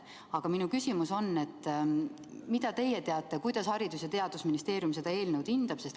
Aga minu küsimus on, kuidas teie teada Haridus- ja Teadusministeerium seda eelnõu hindab.